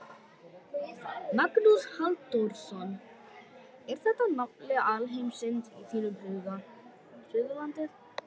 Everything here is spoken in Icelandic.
Magnús Halldórsson: Er þetta nafli alheimsins í þínum huga, Suðurlandið?